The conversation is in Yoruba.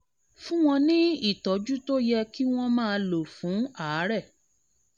fún wọn ní ìtọ́jú tó yẹ kí wọ́n máa lò fún àárẹ̀